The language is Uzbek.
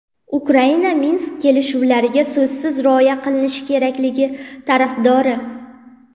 Ukraina Minsk kelishuvlariga so‘zsiz rioya qilinishi kerakligi tarafdori.